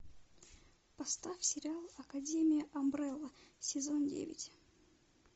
поставь сериал академия амбрелла сезон девять